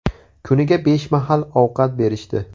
Kuniga besh mahal ovqat berishdi.